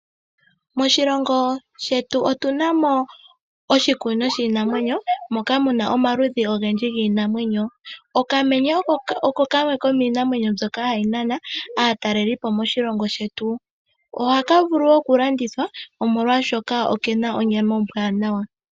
Moshilongo shetu otuna mo oshikunino shiinanwenyo moka muna omaludhi ogendji giinamwenyo. Okamenye oko kamwe komiinamwenyo mbyoka hayi nana aataleli moshilongo shetu. Ohaka vulu okulandithwa molwaashoka okena onyama ombwanawa.